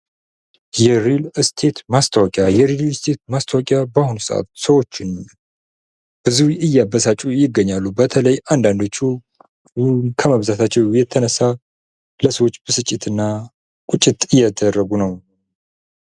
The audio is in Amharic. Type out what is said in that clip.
የሪል ስቴት ማስታወቂያ፡- የሪል ስቴት ማስታወቂያ በአሁኑ ሰዓት ብዙ ሰዎችን እያበሳጩ ይገኛሉ። በተለይ አንዳንዶቹ ብሩን ከማብዛታቸው የተነሳ በብዙ ሰዎች በስጭትና ቁጭት እየተደረጉ ነው።